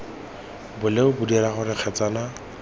bolelo bo dira gore kgetsana